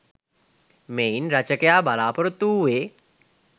මෙයින් රචකයා බලාපොරොත්තු වූයේ